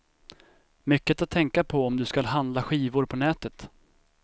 Mycket att tänka på om du ska handla skivor på nätet.